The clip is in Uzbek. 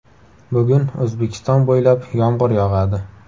Bugun O‘zbekiston bo‘ylab yomg‘ir yog‘adi.